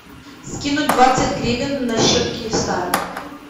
скинуть двадцать гривен на счет киевстара